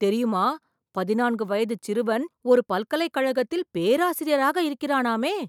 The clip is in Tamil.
தெரியுமா, பதினான்கு வயதுச் சிறுவன், ஒரு பல்கலைக் கழகத்தில் பேராசிரியராக இருக்கிறானாமே...